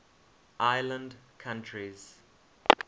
island countries